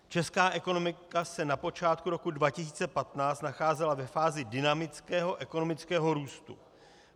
Česká ekonomika se na počátku roku 2015 nacházela ve fázi dynamického ekonomického růstu.